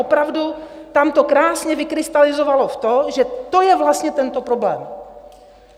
Opravdu tam to krásně vykrystalizovalo v to, že to je vlastně tento problém.